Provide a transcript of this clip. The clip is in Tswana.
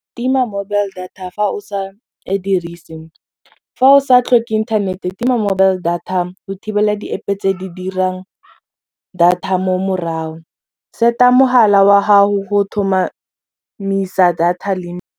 Tima mobile data fa o sa e dirise fa o sa tlhoke internet-e tima mobile data go thibela di-App tse di dirang data mo morago set-a mogala wa gago go thomamisa data limit.